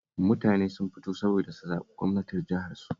Mutane sun fito saboda su zaɓi gwamnan jiharsu